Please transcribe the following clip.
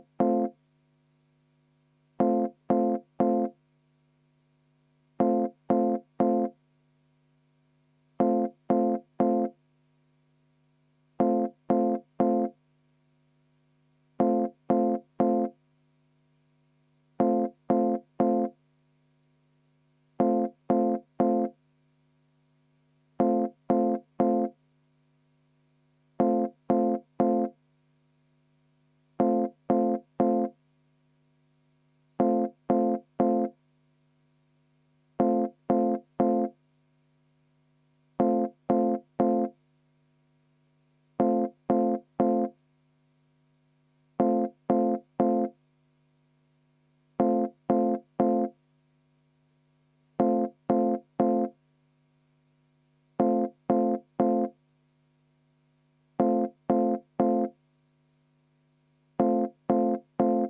V a h e a e g